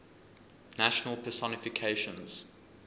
national personifications